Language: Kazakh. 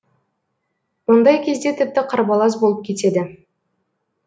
ондай кезде тіпті қарбалас болып кетеді